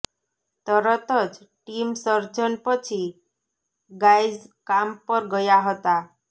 તરત જ ટીમ સર્જન પછી ગાય્ઝ કામ પર ગયા હતા